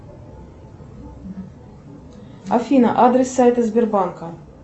афина адрес сайта сбербанка